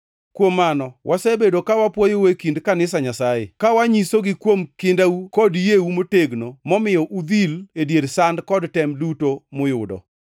Kuom mano, wasebedo ka wapwoyou e kind kanisa Nyasaye, kawanyisogi kuom kindau kod yieu motegno momiyo udhil e dier sand kod tem duto muyudo.